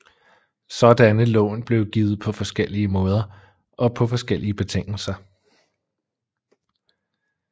Sådanne lån blev givet på forskellige måder og på forskellige betingelser